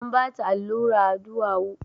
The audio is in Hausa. An bata allura a duwawu